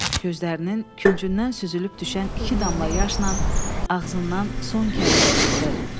Gözlərinin küncündən süzülüb düşən iki damla yaşla ağzından son kəlmə çıxdı.